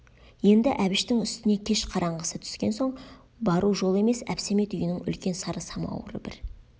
енді әбіштің үстіне кеш қараңғысы түскен соң бару жол емес әбсәмет үйінің үлкен сары самауыры бір